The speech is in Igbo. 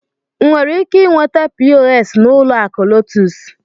M nwere ike inweta POS n'ụlọ akụ LOTUS?